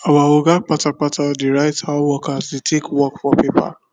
our oga kpata kpata dey write how workers dey take work for paper